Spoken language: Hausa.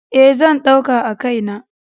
E, zan ɗauka a kai na.